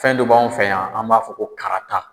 Fɛn dɔ b'an fɛ yan an b'a fɔ ko karata.